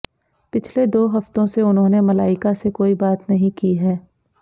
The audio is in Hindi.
पिछले दो हफ्तों से उन्होंने मलाइका से कोई बात नहीं की हैं